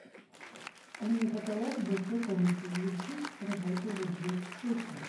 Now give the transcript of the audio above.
умный потолок в большой комнате завершить работу в одиннадцать вечера